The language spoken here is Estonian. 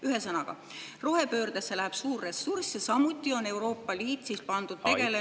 Ühesõnaga, rohepöördesse läheb suur ressurss, samuti on Euroopa Liit pandud tegelema …